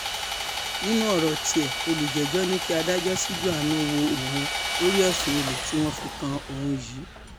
nínú ọ̀rọ̀ tiẹ̀ olùjẹ́jọ́ ní kí adájọ́ ṣíjú àánú wo òun lórí ẹ̀sùn olè tí wọ́n fi kan òun yìí